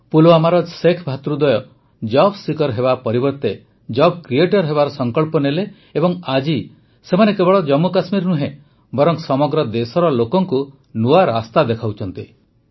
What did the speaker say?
ପୁଲୱାମାର ଶେଖ ଭ୍ରାତାଦ୍ୱୟ job seeker ହେବା ପରିବର୍ତ୍ତେ ଜବ୍ କ୍ରିଏଟର୍ ହେବାର ସଂକଳ୍ପ ନେଲେ ଏବଂ ଆଜି ସେମାନେ କେବଳ ଜମ୍ମୁ କଶ୍ମୀର ନୁହେଁ ବରଂ ସମଗ୍ର ଦେଶର ଲୋକଙ୍କୁ ନୂଆ ରାସ୍ତା ଦେଖାଉଛନ୍ତି